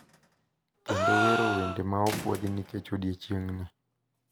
Kendo wero wende ma opuodhi nikech odiechieng`ni.